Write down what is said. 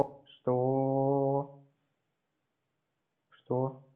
что что